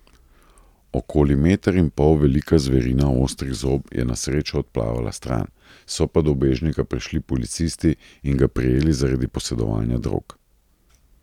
Okoli meter in pol velika zverina ostrih zob je na srečo odplavala stran, so pa do ubežnika prišli policisti in ga prijeli zaradi posedovanja drog.